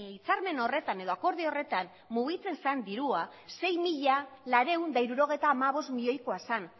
hitzarmen horretan edo akordio horretan mugitzen zen dirua sei mila laurehun eta hirurogeita hamabost milioikoa zen